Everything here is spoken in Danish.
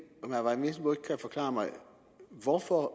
vesselbo kan forklare mig hvorfor